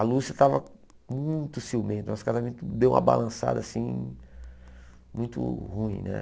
A Lúcia estava muito ciumenta, nosso casamento deu uma balançada assim muito ruim né.